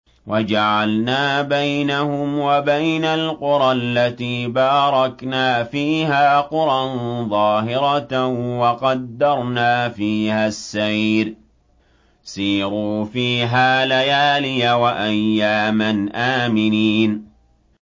وَجَعَلْنَا بَيْنَهُمْ وَبَيْنَ الْقُرَى الَّتِي بَارَكْنَا فِيهَا قُرًى ظَاهِرَةً وَقَدَّرْنَا فِيهَا السَّيْرَ ۖ سِيرُوا فِيهَا لَيَالِيَ وَأَيَّامًا آمِنِينَ